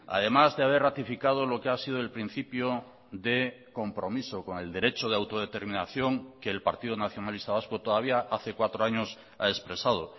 además de haber ratificado lo que ha sido el principio de compromiso con el derecho de autodeterminación que el partido nacionalista vasco todavía hace cuatro años ha expresado